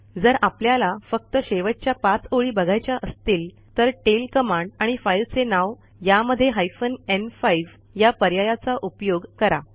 जर आपल्याला फक्त शेवटच्या 5 ओळी बघायच्या असतील तर टेल कमांड आणि फाईलचे नाव यामध्ये हायफेन न्5 या पर्यायाचा उपयोग करा